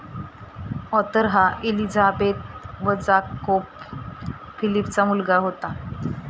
Arthur हा Elizabeth व Jacob फिलीपचा मुलगा होता.